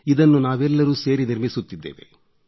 ಇದನ್ನು ನಾವೆಲ್ಲರೂ ಸೇರಿ ನಿರ್ಮಿಸುತ್ತಿದ್ದೇವೆ